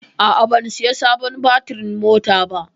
A'a, ban saya sabon batirin mota ba.